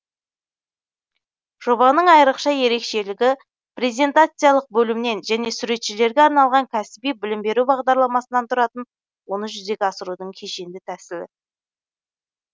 жобаның айрықша ерекшелігі презентациялық бөлімнен және суретшілерге арналған кәсіби білім беру бағдарламасынан тұратын оны жүзеге асырудың кешенді тәсілі